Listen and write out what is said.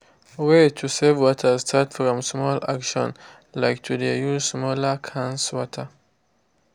way to save water start from small action like to de use smaller cans water.